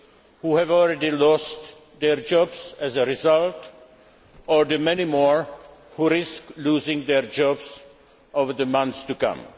who have already lost their jobs as a result, or the many more who risk losing their jobs over the months to come.